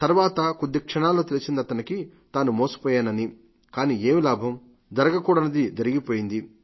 తర్వాత కొద్దిక్షణాల్లో తెలిసిందతనికి తాను మోసపోయానని కానీ ఏం లాభం జరగకూడనిది జరిగిపోయింది